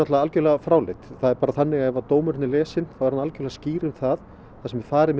algjörlega fráleit það er bara þannig að ef dómurinn er lesinn þá er hann algjörlega skýr um það þar sem farið